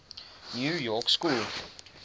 new york school